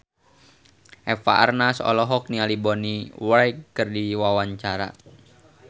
Eva Arnaz olohok ningali Bonnie Wright keur diwawancara